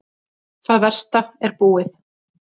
Þetta versta er búið.